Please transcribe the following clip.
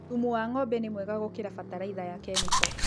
Thumu wa ngʻombe nĩ mwega gũkĩra bataraitha ya kemiko